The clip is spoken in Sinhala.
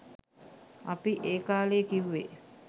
අපි ඒ කාලෙ කිව්වෙ